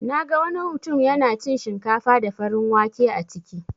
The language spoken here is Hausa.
Naga wani mutun yana cin shinkafa da farin wake a ciki.